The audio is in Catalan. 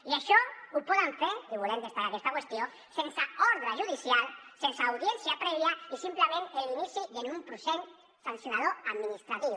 i això ho poden fer i volem destacar aquesta qüestió sense ordre judicial sense audiència prèvia i simplement amb l’inici d’un procés sancionador administratiu